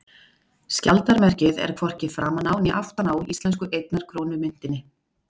Skjaldarmerkið er hvorki framan á né aftan á íslensku einnar krónu myntinni.